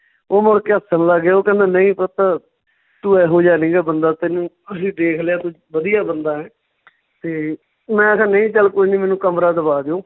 ਉਹ ਮੁੜ ਕੇ ਹੱਸਣ ਲੱਗ ਗਏ, ਉਹ ਕਹਿੰਦੇ ਨਈਂ ਪੁੱਤ ਤੂੰ ਇਹੋ ਜਿਹਾ ਨਹੀਂ ਗਾ ਬੰਦਾ ਤੈਨੂੰ ਅਸੀਂ ਦੇਖ ਲਿਆ ਤੂੰ ਵਧੀਆ ਬੰਦਾ ਹੈ ਤੇ ਮੈਂ ਕਿਹਾ ਨਹੀਂ ਚੱਲ ਕੋਈ ਨੀ ਮੈਨੂੰ ਕਮਰਾ ਦਵਾ ਦਿਉ